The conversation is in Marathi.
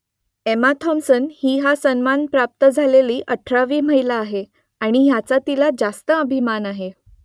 एमा थॉम्पसन ही हा सन्मान प्राप्त झालेली अठरावी महिला आहे आणि याचा तिला रास्त अभिमान आहे